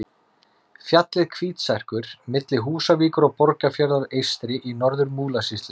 Fjallið Hvítserkur milli Húsavíkur og Borgarfjarðar eystri í Norður-Múlasýslu.